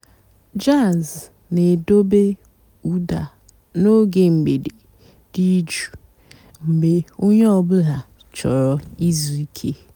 jàzz nà-èdobé ụ́dà n'óge m̀gbèdé dị́ jụ́ụ́ mg̀bé ónyé ọ̀ bụ́là chọ̀rọ́ ìzú ìké.